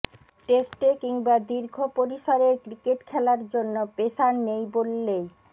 টেস্টে কিংবা দীর্ঘ পরিসরের ক্রিকেট খেলার জন্য পেসার নেই বললেই